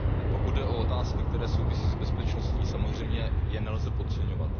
Pokud jde o otázky, které souvisí s bezpečností, samozřejmě je nelze podceňovat.